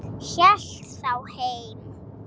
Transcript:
Hélt þá heim.